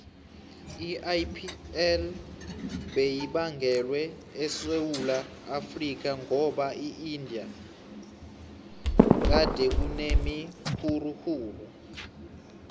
iipl beyibangwele esewula afrika ngoba eindia gadekunemiguruguru